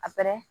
A pɛrɛn